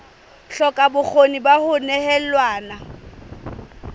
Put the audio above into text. hloka bokgoni ba ho nehelana